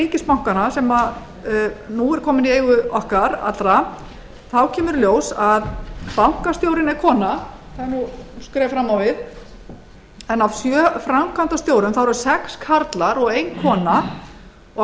ríkisbankanna sem nú er kominn í eigu okkar allra þá kemur í ljós að bankastjórinn er kona sem er nú skref fram á við en af sjö framkvæmdastjórum þá eru sex karlar og ein kona og af